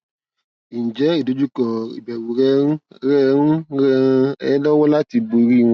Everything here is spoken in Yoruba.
ǹjẹ ìdojúkọ ìbẹrù rẹ ń rẹ ń ràn ẹ lọwọ láti borí wọn